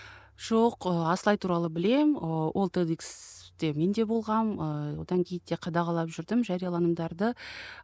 жоқ ы асылай туралы білемін ы ол те де икс те мен де болғанмын ыыы одан кейін де қадағалап жүрдім жарияланымдарды